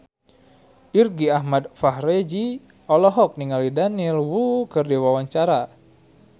Irgi Ahmad Fahrezi olohok ningali Daniel Wu keur diwawancara